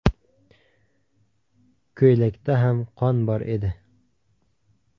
Ko‘ylakda ham qon bor edi.